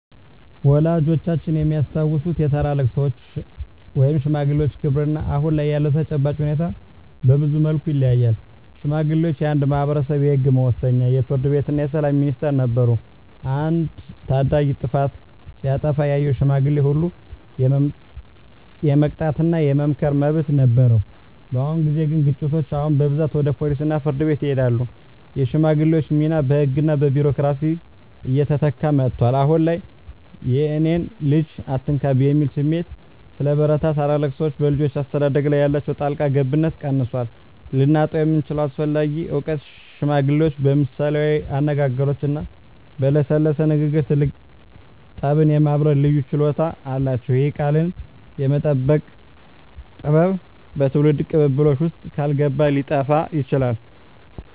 ወላጆቻችን የሚያስታውሱት የታላላቅ ሰዎች (ሽማግሌዎች) ክብርና አሁን ላይ ያለው ተጨባጭ ሁኔታ በብዙ መልኩ ይለያያል። ሽማግሌዎች የአንድ ማኅበረሰብ የሕግ መወሰኛ፣ የፍርድ ቤትና የሰላም ሚኒስቴር ነበሩ። አንድ ታዳጊ ጥፋት ሲያጠፋ ያየው ሽማግሌ ሁሉ የመቅጣትና የመምከር መብት ነበረው። በአሁን ጊዜ ግን ግጭቶች አሁን በብዛት ወደ ፖሊስና ፍርድ ቤት ይሄዳሉ። የሽማግሌዎች ሚና በሕግና በቢሮክራሲ እየተተካ መጥቷል። አሁን ላይ "የእኔን ልጅ አትነካብኝ" የሚል ስሜት ስለበረታ፣ ታላላቅ ሰዎች በልጆች አስተዳደግ ላይ ያላቸው ጣልቃ ገብነት ቀንሷል። ልናጣው የምንችለው አስፈላጊ እውቀት ሽማግሌዎች በምሳሌያዊ አነጋገሮችና በለሰለሰ ንግግር ትልቅ ጠብን የማብረድ ልዩ ችሎታ አላቸው። ይህ "ቃልን የመጠቀም ጥበብ" በትውልድ ቅብብሎሽ ውስጥ ካልገባ ሊጠፋ ይችላል።